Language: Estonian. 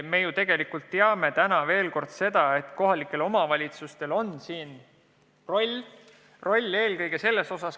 Samas me teame ka seda, et kohalikel omavalitsustel on siin oma roll.